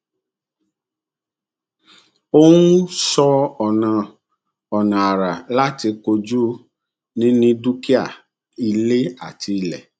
ó um sọ ọnà ọnà àrà láti kojú níní dúkìá ilé àti ilẹ